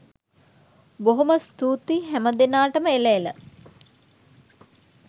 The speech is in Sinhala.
බොහෝම ස්තූතියි හැමදෙනාටම එළ එළ